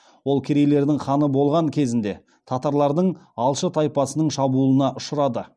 ол керейлердің ханы болған кезінде татарлардың алшы тайпасының шабуылына ұшырады